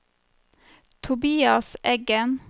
Tobias Eggen